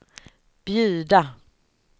bjuda